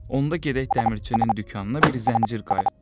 Onda gedək dəmirçinin dükanına bir zəncir qaytıraq.